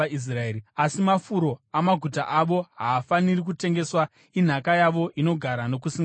Asi mafuro amaguta avo haafaniri kutengeswa; inhaka yavo inogara nokusingaperi.